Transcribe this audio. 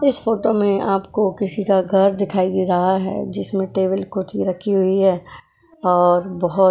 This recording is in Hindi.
इस फोटो में आपको किसी का घर दिखाई दे रहा है जिसमें टेबल कुर्थी रखी हुई है और बहुत --